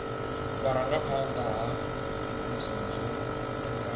vhurangaphanda ha muvhuso zwo tanganywa